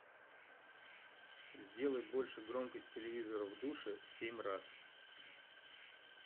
сделай больше громкость телевизора в душе семь раз